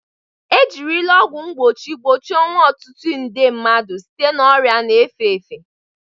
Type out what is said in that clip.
Ejirila ọgwụ mgbochi gbochie ọnwụ ọtụtụ nde mmadụ site na ọrịa na-efe efe.